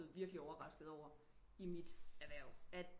Virkelig overrasket over i mit erhverv